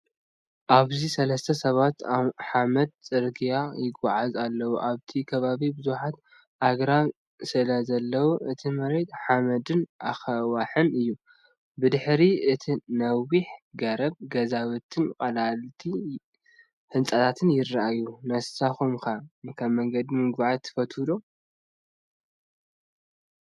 ኣብዚ ሰለስተ ሰባት ኣብ ሓመድ ጽርግያ ይጓዓዙ ኣለዉ። ኣብቲ ከባቢ ብዙሓት ኣግራብ ስለዘለዉ እቲ መሬት ሓመድን ኣኻውሕን እዩ። ብድሕሪ እቲ ነዊሕ ገረብ ገዛውትን ቀለልቲ ህንጻታትን ይረኣዩ። ነስኩም ከ መንገዲ ምጉዓዝ ትፈትው ደ?